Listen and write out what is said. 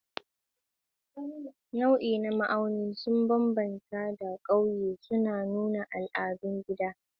Nauyi da ma'auni sun bambanta da ƙauye, suna nuna al'adun gida.